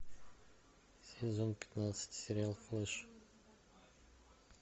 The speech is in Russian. сезон пятнадцать сериал флэш